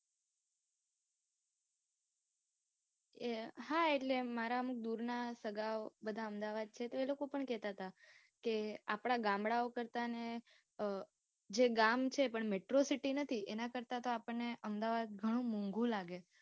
અમ હા એટલે મારા અમુક દુરના સગા ઓ બધા અમદાવાદ છે તો એ લોકો પણ કહેતા હતા, કે આપડા ગામડા ઓ કરતા ને ગામ છે પણ Metro city નથી. એના કરતા આપણ ને અમદાવાદ ઘણું મોંધુ લાગે.